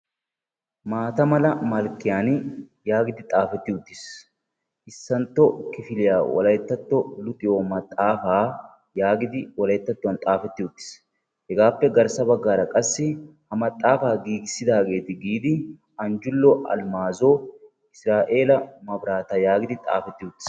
Maata mala malkkiyan yaagidi xaafetti uttiis. Issantto kifiliya wolayttatto luxiyo maxaafaa yaagidi wolayttattuwan xaafetti uttiis. Hegaappe garssa baggaara qassi ha maxaafaa giigissidaageeti giidi anjjullo alimaazo, isira'eela maabiraata yaagidi xaafetti uttiis.